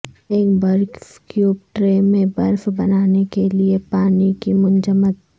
ایک برف cube tray میں برف بنانے کے لئے پانی کی منجمد